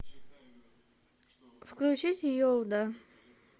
включить йоуда